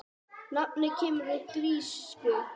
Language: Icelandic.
Nafnið kemur úr grísku